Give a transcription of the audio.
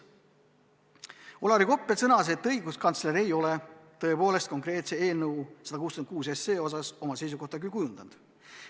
Olari Koppel sõnas, et õiguskantsler ei ole tõepoolest eelnõu 166 osas oma seisukohta kujundanud.